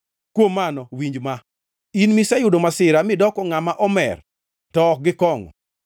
Kuom mano winj ma, in miseyudo masira midoko ngʼama omer to ok gi kongʼo.